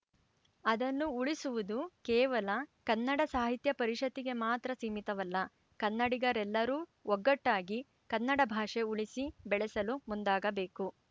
ಅದನ್ನು ಉಳಿಸುವುದು ಕೇವಲ ಕನ್ನಡ ಸಾಹಿತ್ಯ ಪರಿಷತ್ತಿಗೆ ಮಾತ್ರ ಸೀಮಿತವಲ್ಲ ಕನ್ನಡಿಗರೆಲ್ಲರೂ ಒಗ್ಗಟ್ಟಾಗಿ ಕನ್ನಡ ಭಾಷೆ ಉಳಿಸಿ ಬೆಳೆಸಲು ಮುಂದಾಗಬೇಕು